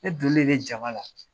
Ne donnen de jama la